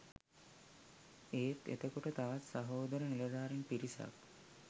ඒත් එතකොට තවත් සහෝදර නිලධාරීන් පිරිසක්